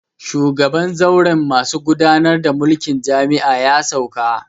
Shugaban zauren masu gudanar da mulkin jami'a ya sauka